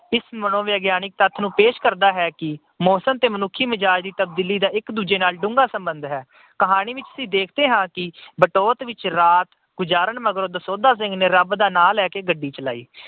ਇਸ ਮਨੋਵਿਗਿਆਨਕ ਤੱਥ ਨੂੰ ਪੇਸ਼ ਕਰਦਾ ਹੈ ਕਿ ਮੌਸਮ ਤੇ ਮਨੁੱਖੀ ਮਿਜਾਜ ਦੀ ਤਬਦੀਲੀ ਦਾ ਡੂੰਘਾ ਸਬੰਧ ਹੈ। ਕਹਾਣੀ ਵਿੱਚ ਅਸੀਂ ਦੇਖਦੇ ਹਾਂ ਕਿ ਬਟੋਤ ਵਿੱਚ ਰਾਤ ਗੁਜਾਰਨ ਮਗਰੋਂ ਦਸੌਂਧਾ ਸਿੰਘ ਨੇ ਰੱਬ ਦਾ ਨਾਂ ਲੈ ਕੇ ਗੱਡੀ ਚਲਾਈ।